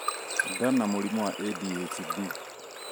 nda na mũrimũ wa ADHD